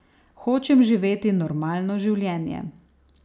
Hočem živeti normalno življenje.